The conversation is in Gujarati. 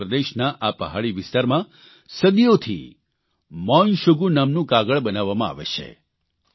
અરૂણચલ પ્રદેશના આ પહાડી વિસ્તારમાં સદીઓથી મોન શુગુ નામનું કાગળ બનાવામાં આવે છે